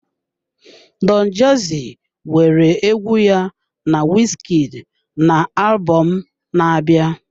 Don jazzy nwere egwu ya na Wizkid na alubom na-abịa.